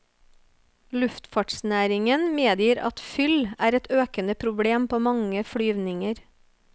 Luftfartsnæringen medgir at fyll er et økende problem på mange flyvninger.